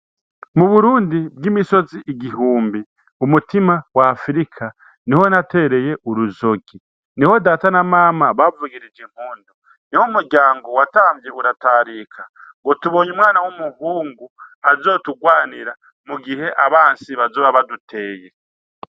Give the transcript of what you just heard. Mu Burundi bw'imisozi igihumbi, umutima w'Afrika niho natereye urizogi. Niho Data na Mama bavugirije impundu, niho umuryango watamvye uratarika ngo tubonye umwana w'umuhungu azoturwanira mu gihe abansi bazoba baduteye.